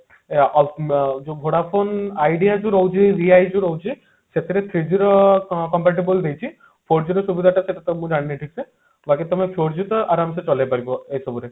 ଅ ଅ ମ ଯୋଉ Vodafone Idea ବି ରହୁଛି ଯୋଉ ରହୁଛି ସେଥିରେ three G ର compare table ଦେଇଛି four G ର ସୁବିଧା ତ ମୁଁ ଜାଣିନି ଠିକସେ ବାକି ତମେ four G ତ ଆରାମ ସେ ଚଲେଇ ପାରିବ ଏ ସବୁରେ